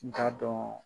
N t'a dɔn